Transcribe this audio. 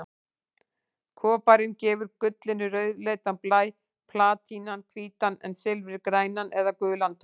Koparinn gefur gullinu rauðleitan blæ, platínan hvítan en silfrið grænan eða gulan tón.